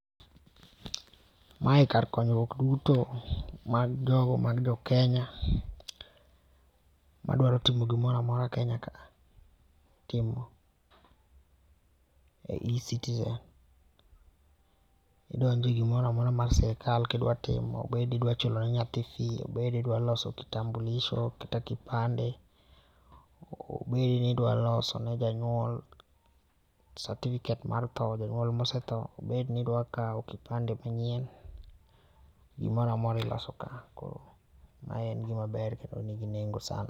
Mae kar konyruok duto mag jo mag Jokenya, madwaro timo gimoro amora Kenya ka a timo e eCitizen. Idonje gimoramora mar sirkal kidwa timo. Obedi idwa chulo ne nyathi fee, obed idwa loso kitambulisho kata kipande, obedi ni idwa loso ne janyuol certificate mar thoo, janyuol mosetho, obed ni idwa kao kipande manyien. Gimoramora iloso ka, koro ma en gima ber kendo nigi nengo sana